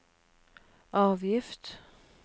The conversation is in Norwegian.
avgift